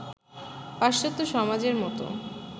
পাশ্চাত্য সমাজের মতো